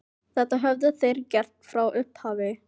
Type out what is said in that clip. Þetta höfðu þeir gert frá upphafi